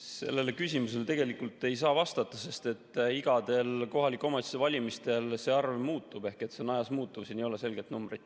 Sellele küsimusele ei saa vastata, sest igal kohaliku omavalitsuse valimisel see arv muutub ehk see on ajas muutuv, siin ei ole selget numbrit.